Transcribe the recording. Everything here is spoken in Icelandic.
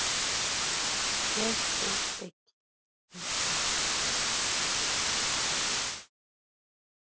Katla, hvað er í matinn á sunnudaginn?